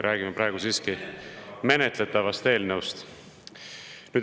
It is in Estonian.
Räägime siiski praegu menetletavast eelnõust.